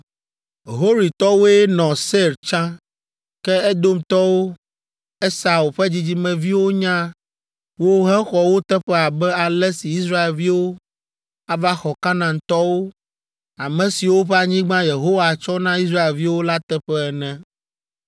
Horitɔwoe nɔ Seir tsã, ke Edomtɔwo, Esau ƒe dzidzimeviwo nya wo hexɔ wo teƒe abe ale si Israelviwo ava xɔ Kanaantɔwo, ame siwo ƒe anyigba Yehowa tsɔ na Israelviwo la teƒe ene.